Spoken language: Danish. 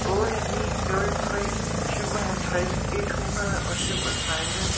otte ni nul tre syvoghalvfjerds et hundrede og syvogtredive